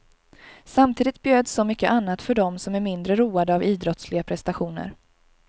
Samtidigt bjöds så mycket annat för dem, som är mindre roade av idrottsliga prestationer.